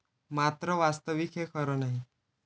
मात्र वास्तविक हे खरं नाही.